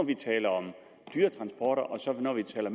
vi taler om dyretransporter for når vi taler